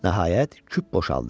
Nəhayət, küp boşaldı.